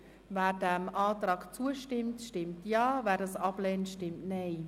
Wer dem Antrag zustimmt, stimmt Ja, wer diesen ablehnt, stimmt Nein.